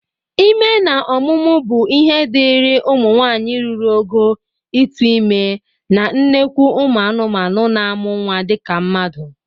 Ime na ọmụmụ bụ ihe dịri ụmụ nwaanyị ruru ogo ịtụ ime na nnekwu ụmụ anụmanụ na-amụ nnwa dịka mmadụ